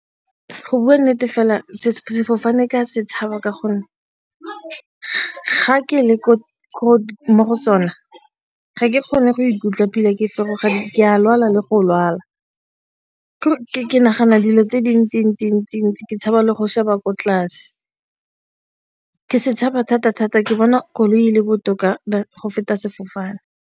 Go bua nnete fela sefofane ka se tshaba ka gonne ga ke le mo go sone ga ke kgone go ikutlwa ke feroga ke a lwala le go lwala ke nagana dilo tse dintsi-ntsi-ntsi-ntsi ke tshaba le go sheba ko tlase ke se tshaba-thata-thata ke bona koloi le botoka go feta sefofane.